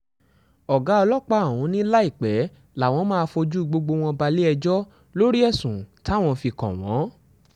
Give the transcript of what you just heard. ọ̀gá ọlọ́pá ọ̀hún ni láìpẹ́ làwọn máa fojú gbogbo wọn balẹ̀-ẹjọ́ lórí ẹ̀sùn táwọn fi kàn wọ́n